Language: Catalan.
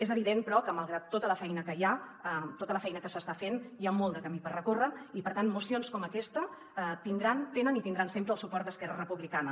és evident però que malgrat tota la feina que s’està fent hi ha molt de camí per recórrer i per tant mocions com aquesta tenen i tindran sempre el suport d’esquerra republicana